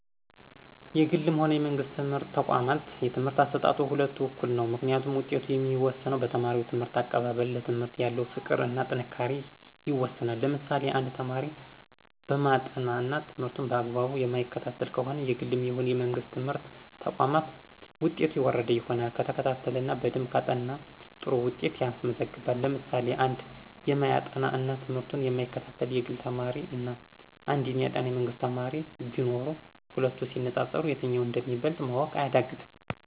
የግልም ሆነ የመንግስት ትምህርት ተቋም የትምህርት አሰጣጡ የሁለቱም እኩል ነው። ምክንያቱም ውጤቱ የሚወሰነው በተማሪው ትምህርት አቀባበል፣ ለትምህርት ያለው ፍቅር እና ጥንካሬ ይወስነዋል። ለምሳሌ1፦ አንድ ተማሪ የማያጠና እና ትምህርቱን በአግባቡ የማይከታተል ከሆነ የግልም ይሁን የመንግስት ትምህርት ተቋም ውጤቱ የወረደ ይሆናል። ከተከታተለ እና በደንብ ካጠና ጥሩ ውጤት ያስመዘግባል። ለምሳሌ 2፦ አንድ የማያጠና እና ትምህርቱን የማይከታተል የግል ተማሪ እና አንድ የሚያጠና የመንግስት ተማሪ ቢኖሩ ሂለቱ ሲነፃፀሩ የትኛው እንደሚበልጥ ማወቅ አያዳግትም።